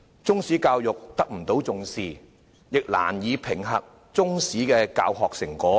中史教育得不到重視，亦難以評核中史的教學成果。